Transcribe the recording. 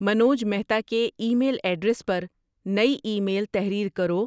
منوج مہتا کے email address پر نئی ای میل تحریر کرو